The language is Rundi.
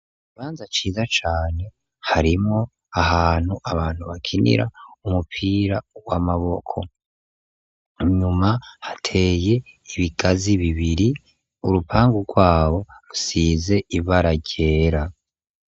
Ikibanza ciza cane, harimwo ahantu abantu bakinira umupira w'amaboko, inyuma hateye ibigazi bibiri, urupangu rwabo rusize ibara ryera.